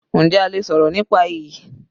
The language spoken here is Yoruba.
Njẹ́ a lè sọ̀rọ̀ nípa iyì?